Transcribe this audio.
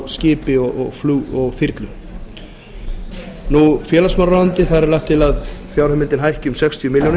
skipi og þyrlu félagsmálaráðuneytið þar er gert ráð fyrir að fjárheimildin hækki um sextíu milljónir